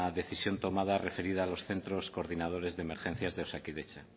decisión tomada referida a los centros coordinadores de emergencias de osakidetza